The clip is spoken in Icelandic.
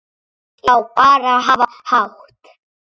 Já, bara hafa hátt.